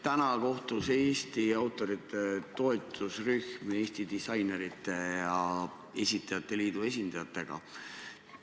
Täna kohtus Eesti autorite toetusrühm Eesti Disainerite Liidu ja Eesti Esitajate Liidu esindajatega.